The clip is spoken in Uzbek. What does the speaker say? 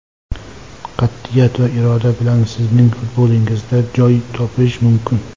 Qat’iyat va iroda bilan sizning futbolingizda joy topish mumkin.